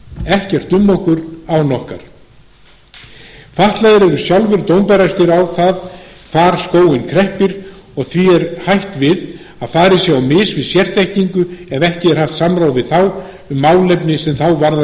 ekkert um okkur án okkar fatlaðir eru sjálfir dómbærastir á það hvar skóinn kreppir og því er hætt við að farið sé á mis við sérþekkingu ef ekki er haft samráð við þá um málefni sem þá varðar